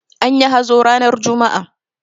Anyi hazo ranar juma'a.